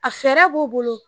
A fɛɛrɛ b'o bolo